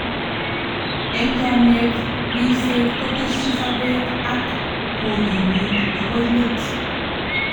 Eng chomyet, ribset, koteshi sobet ak kokimiit agoi let."